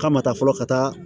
K'a ma taa fɔlɔ ka taa